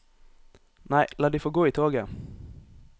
Nei, la de få gå i toget.